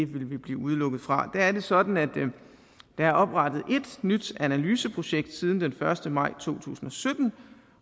ville vi blive udelukket fra der er det sådan at der er oprettet ét nyt analyseprojekt siden den første maj to tusind og sytten